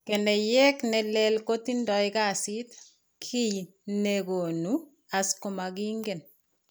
Keneyeek ne lel kotindo kasit, kiiy ne koonu As komakiinken.